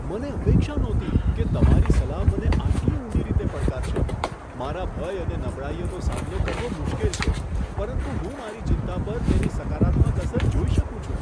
મને અપેક્ષા નહોતી કે તમારી સલાહ મને આટલી ઊંડી રીતે પડકારશે! મારા ભય અને નબળાઈઓનો સામનો કરવો મુશ્કેલ છે, પરંતુ હું મારી ચિંતા પર તેની સકારાત્મક અસર જોઈ શકું છું.